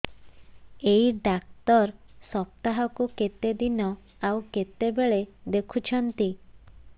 ଏଇ ଡ଼ାକ୍ତର ସପ୍ତାହକୁ କେତେଦିନ ଆଉ କେତେବେଳେ ଦେଖୁଛନ୍ତି